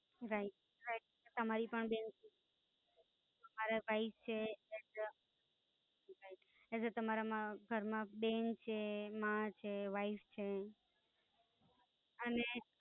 Right Right તમારી પણ બેન તમારા જ ભાઈ છે એજ તમારામાં ઘર માં બેન છે, માં છે, Wife છે, અને